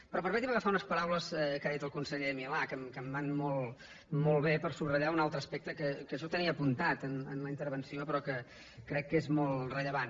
però permeti’m agafar unes paraules que ha dit el conseller milà que em van molt bé per subratllar un altre aspecte que jo tenia apuntat en la intervenció però que crec que és molt rellevant